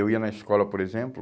Eu ia na escola, por exemplo,